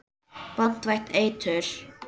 Banvænt eitur.